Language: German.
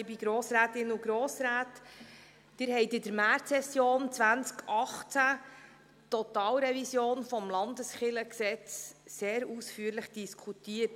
Sie haben in der Märzsession 2018 die Totalrevision des LKG sehr ausführlich diskutiert.